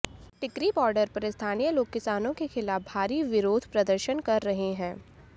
टिकरी border पर स्थानीय लोग किसानों के खिलाफ भारी विरोध प्रदर्शन कर रहे हैं